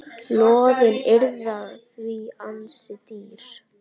Lóðin yrði því ansi dýr.